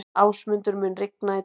Ásmundur, mun rigna í dag?